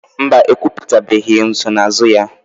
Mba, ekwuputabeghị nsonaazụ ya.